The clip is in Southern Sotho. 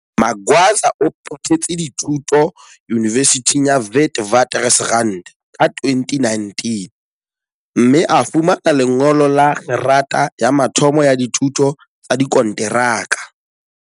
Magwaza o phethetse dithu to Yunivesithing ya Witwaters rand ka 2019, mme a fumana lengolo la kgerata ya mathomo ya dithuto tsa dikonteraka.